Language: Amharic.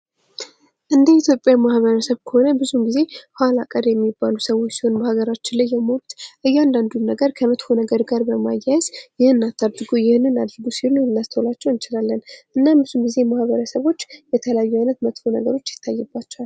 እንደ ኢትዮጵያ ማህበረሰብ ከሆነ ብዙውን ጊዜ ኋላቀር የሚባሉ ሰዎች ሲሆን፤ በሀገራችን ላይ የሞሉት። እያንዳንዱን ነገር ከመጥፎ ነገር ጋር በማያያዝ ይህን አታድርጉ ይህንን አድርጉ ሲሉ ልናስተውላቸው እንችላለን። እናም ብዙውን ጊዜ ማህበረሰቦች የተለያዩ ዓይነት መጥፎ ነገሮች ይታይባቸዋል።